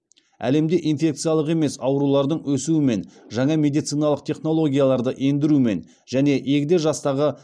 әлемде инфекциялық емес аурулардың өсуімен жаңа медициналық технологияларды ендірумен және егде жастағы